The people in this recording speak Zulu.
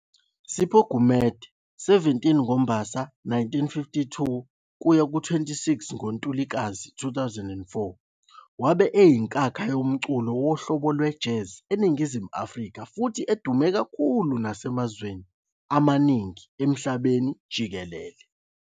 Sipho Gumede, 17 ngoMbasa 1952- 26 ngoNtulikazi 2004, wabe eyinkakha yomculo wohlobo lwe-Jazz eNingizimu Afrika futhi edume kakhulu nasemazweni amaningi emhlabeni jikelele.